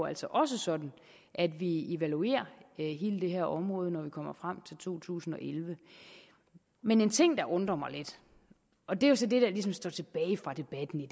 altså også sådan at vi evaluerer hele det her område når vi kommer frem til to tusind og elleve men en ting der undrer mig lidt og det er så det der ligesom står tilbage fra debatten i